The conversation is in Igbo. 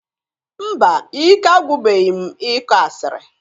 Mba! Ike agwụbeghi m ịkọ asịrị.